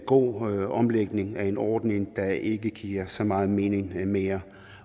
god omlægning af en ordning der ikke giver så meget mening mere